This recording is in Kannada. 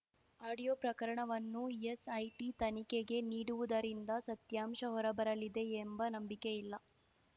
ಆಡಿಯೋ ಪ್ರಕರಣವನ್ನು ಎಸ್‌ಐಟಿ ತನಿಖೆಗೆ ನೀಡುವುದರಿಂದ ಸತ್ಯಾಂಶ ಹೊರಬರಲಿದೆ ಎಂಬ ನಂಬಿಕೆ ಇಲ್ಲ